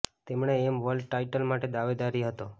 તેમણે એમ પણ વર્લ્ડ ટાઇટલ માટે દાવેદારી હતો